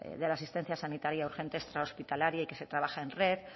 de la asistencia sanitaria urgente extrahospitalaria y que se trabaja en red